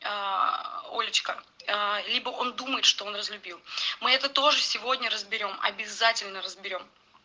аа олечка аа либо он думает что он разлюбил мы это тоже сегодня разберём обязательно разберём